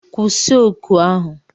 Kwụsị oku ahu!